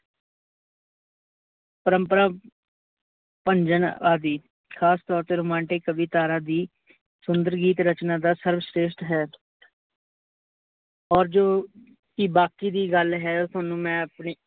ਪਰਮਪਰਾ ਭਨਜਨ ਆਦਿ। ਖਾਸ ਤੋਰ ਤੇ ਰੋਮਾਂਟਿਕ ਕਵਿਤਾਰਾ ਦੀ ਸੁੰਦਰਗੀਤ ਰਚਨਾ ਦਾ ਸ੍ਰਬਸ਼੍ਰੇਸ਼ਟ ਹੈ। ਔਰ ਜੋ ਕੀ ਬਾਕੀ ਦੀ ਗੱਲ ਹੈ, ਓਹ ਤੁਹਾਨੂੰ ਮੈ ਆਪਣੀ